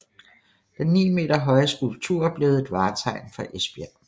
Den 9 meter høje skulptur er blevet et vartegn for Esbjerg